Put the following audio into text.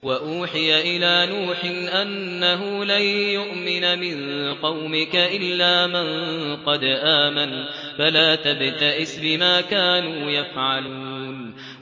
وَأُوحِيَ إِلَىٰ نُوحٍ أَنَّهُ لَن يُؤْمِنَ مِن قَوْمِكَ إِلَّا مَن قَدْ آمَنَ فَلَا تَبْتَئِسْ بِمَا كَانُوا يَفْعَلُونَ